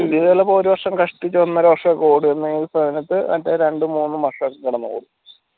പുതിയതെല്ലാം ഇപ്പോ ഒരു വർഷം കഷ്ടിച്ച് ഒന്നര വർഷം ഓടും